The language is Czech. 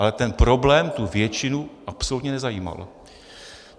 Ale ten problém tu většinu absolutně nezajímal.